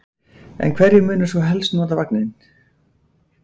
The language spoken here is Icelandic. En hverjir munu svo helst nota veginn?